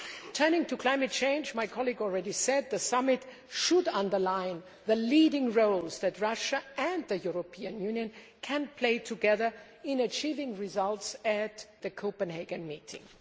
Turning to climate change, my colleague has already said that the summit should underline the leading roles that Russia and the European Union can play together in achieving results at the Copenhagen meeting.